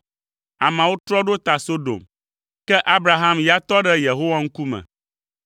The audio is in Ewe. Ameawo trɔ ɖo ta Sodom, ke Abraham ya tɔ ɖe Yehowa ŋkume.